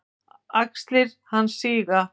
Axlir hans síga.